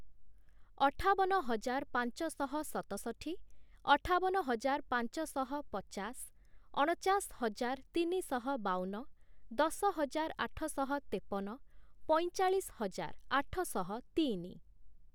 ଅଠାବନ ହଜାର ପାଞ୍ଚଶହ ସତଷଠି, ଅଠାବନ ହଜାର ପାଞ୍ଚଶହ ପଚାଶ, ଅଣଚାଶ ହଜାର ତିନିଶହ ବାଉନ, ଦଶହଜାର ଆଠଶହ ତେପନ, ପଇଁଚାଳିଶ ହଜାର ଆଠଶହ ତିନି ।